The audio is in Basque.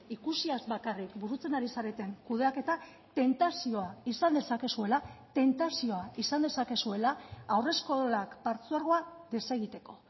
ikusiaz bakarrik burutzen ari zareten kudeaketa tentazioa izan dezakezuela tentazioa izan dezakezuela haurreskolak partzuergoa desegiteko